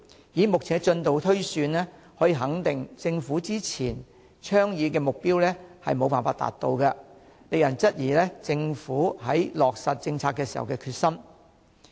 以目前的進度推算，可以肯定政府之前倡議的目標將無法達到，令人質疑政府在落實政策時的決心。